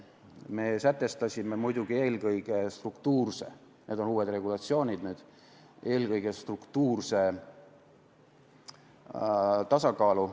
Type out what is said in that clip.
Me sätestasime muidugi eelkõige struktuurse – need on uued regulatsioonid – tasakaalu.